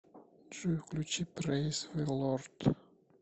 джой включи прэйз зэ лорд